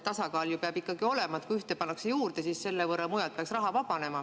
Tasakaal peab ikka olema: kui ühte pannakse juurde, siis selle võrra mujalt peaks raha vabanema.